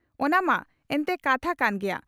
ᱚᱱᱟ ᱢᱟ ᱮᱱᱴᱮ ᱠᱟᱛᱷᱟ ᱠᱟᱱ ᱜᱮᱭᱟ ᱾